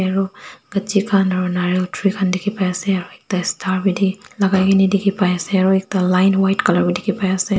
Aro khan aro nariyal tree khan dekhi pai ase aro ekta star lagai ne dekhi pai ase aro ekta line white color bi dekhi pai ase.